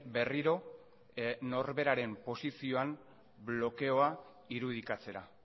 berriro norberaren posizioan blokeoa irudikatzera